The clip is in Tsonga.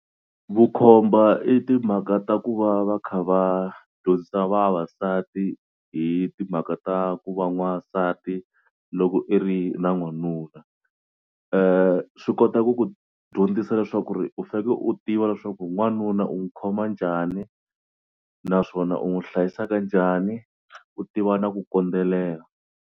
Vukhomba i timhaka ta ku va va kha va dyondzisa vavasati hi timhaka ta ku va n'wansati loko i ri na n'wanuna. Swi kota ku ku dyondzisa leswaku ri u faneke u tiva leswaku wanuna u n'wi khoma njhani naswona u n'wi hlayisa kanjhani u tiva na ku kondzelela.